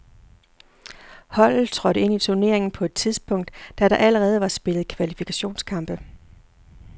Holdet trådte ind i turneringen på et tidspunkt, da der allerede var spillet kvalifikationskampe.